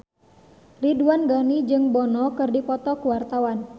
Ridwan Ghani jeung Bono keur dipoto ku wartawan